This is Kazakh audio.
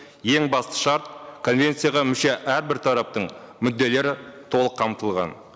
ең басты шарт конвенцияға мүше әрбір тараптың мүдделері толық қамтылған